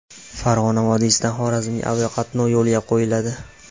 Farg‘ona vodiysidan Xorazmga aviaqatnov yo‘lga qo‘yiladi.